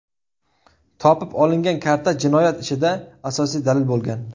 Topib olingan karta jinoyat ishida asosiy dalil bo‘lgan.